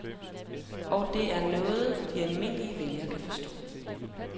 Og det er noget, de almindelige vælgere kan forstå.